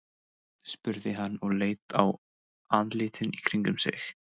spurði hann og leit á andlitin í kringum sig.